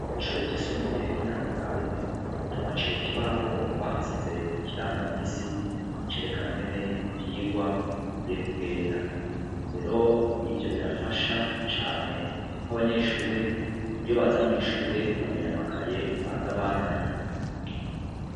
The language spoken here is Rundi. Kw'ishure ryisumbuye ry'i Nyazarake, twahaciye ku kibaho bahashize ikirangaminsi cerekana ingene ivyigwa bigiye kugenda. Rero ivyo birafasha cane kuko abanyeshure iyo baza mw'ishure bamenya amakaye baza bazanye.